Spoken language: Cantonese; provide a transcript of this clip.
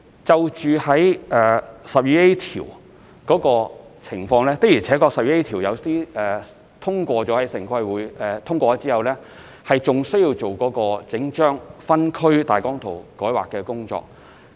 就第 12A 條的情況，有些項目的確在獲得城規會通過後，還要進行整份分區計劃大綱草圖的改劃工作。